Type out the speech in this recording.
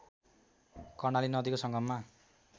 कर्णाली नदीको संगममा